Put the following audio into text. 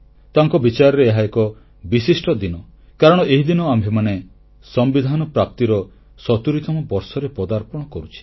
ତାଙ୍କ ବିଚାରରେ ଏହା ଏକ ବିଶିଷ୍ଟ ଦିନ କାରଣ ଏହିଦିନ ଆମ୍ଭେମାନେ ସମ୍ବିଧାନ ପ୍ରାପ୍ତିର 70ତମ ବର୍ଷରେ ପଦାର୍ପଣ କରୁଛେ